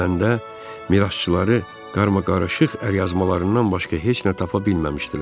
Öləndə, mirasçıları qarmaqarışıq əlyazmalarından başqa heç nə tapa bilməmişdilər.